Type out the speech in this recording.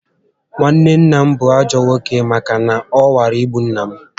Nwanne nna m bú ajọ nwoke màkà na ọ nwara igbu nnà m